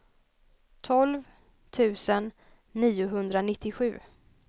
tolv tusen niohundranittiosju